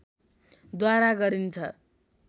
द्वारा गरिन्छ